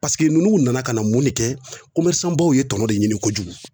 ninnu nana ka na mun de kɛ baw ye tɔnɔ de ɲini kojugu